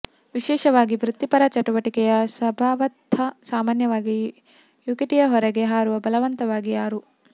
ವಿಶೇಷವಾಗಿ ವೃತ್ತಿಪರ ಚಟುವಟಿಕೆಯ ಸ್ವಭಾವತಃ ಸಾಮಾನ್ಯವಾಗಿ ಯಕುಟಿಯ ಹೊರಗೆ ಹಾರುವ ಬಲವಂತವಾಗಿ ಯಾರು